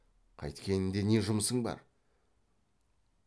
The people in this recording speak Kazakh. қайткенінде не жұмысың бар